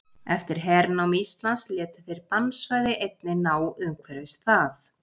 Eftir hernám Íslands létu þeir bannsvæði einnig ná umhverfis það.